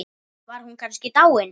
Var hún kannski dáin?